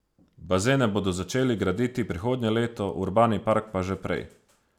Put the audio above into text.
Bazene bodo začeli graditi prihodnje leto, urbani park pa že prej.